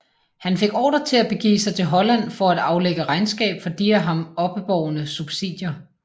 Han fik ordre til at begive sig til Holland for at aflægge regnskab for de af ham oppebårne subsidier